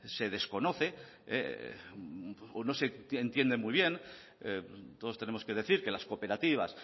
se desconoce o no se entiende muy bien todos tenemos que decir que las cooperativas